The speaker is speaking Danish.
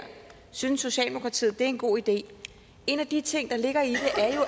synes socialdemokratiet det er en god idé en af de ting der ligger i det